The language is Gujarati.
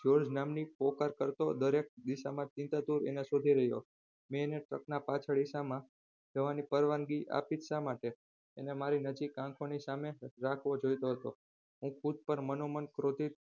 જ્યોર્જ નામની પોકળ કરતો અને દરેક દિશામાં ચિંતાતુર એને શોધી રહ્યો હતો મેં અને સપના પાછળ પરવાનગી આપીજ શા માટે અને મારી આંખોની નજીક રાખવો જોઈતો હતો અને ખુદ પર મનોમન ક્રોધિત